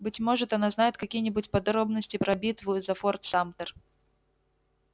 быть может она знает какие-нибудь подробности про битву за форт шамтер